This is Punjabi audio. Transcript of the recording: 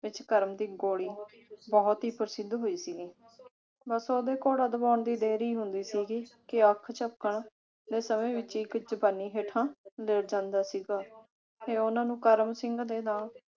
ਵਿਚ ਕਰਮ ਦੀ ਗੋਲੀ ਬਹੁਤ ਹੀ ਪ੍ਰਸਿੱਧ ਹੋਈ ਸੀ। ਬਸ ਉਹਦੇ ਘੋੜਾ ਦਬਾਉਣ ਦੀ ਦੇਰੀ ਹੁੰਦੀ ਸੀਗੀ ਕਿ ਅੱਖ ਝਪਕਣ ਦੇ ਸਮੇਂ ਵਿਚ ਹੀ ਇਕ ਚੁਕੰਨੀ ਹੇਠਾਂ ਲੇਟ ਜਾਂਦਾ ਸੀਗਾ ਤੇ ਉਨ੍ਹਾਂ ਨੂੰ ਕਰਮ ਸਿੰਘ ਦੇ ਨਾਂ